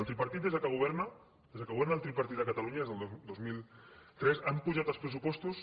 el tripartit des que governa des que governa el tripartit a catalunya des del dos mil tres han pujat els pressupostos